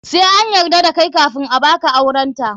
Sai an yarda da kai kafun a baka aurenta.